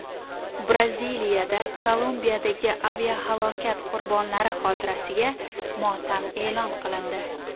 Braziliyada Kolumbiyadagi aviahalokat qurbonlari xotirasiga motam e’lon qilindi.